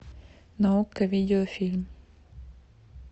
на окко видеофильм